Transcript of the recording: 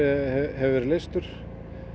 hefur verið leystur